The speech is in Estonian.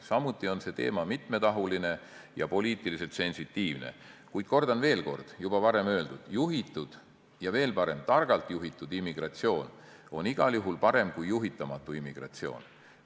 Samuti on see teema mitmetahuline ja poliitiliselt sensitiivne, kuid kordan veel kord juba varem öeldut: juhitud, veel parem, targalt juhitud immigratsioon on igal juhul parem kui juhitamatu immigratsioon.